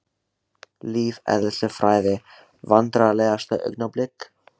Lífeðlisfræði Vandræðalegasta augnablik?